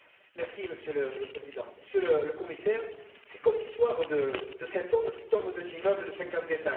Monsieur le Président, Monsieur le Commissaire, c'est comme l'histoire de cet homme qui tombe d'un immeuble de 50 étages.